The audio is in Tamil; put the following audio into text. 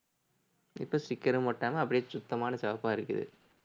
இப்ப sticker உம் ஒட்டாம அப்படியே சுத்தமான சிவப்பா இருக்குது